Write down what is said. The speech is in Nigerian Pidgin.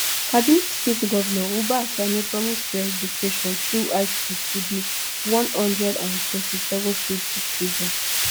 kaduna state govnor uba sani promise free education through high school to di one hundred and thirty-seven freed children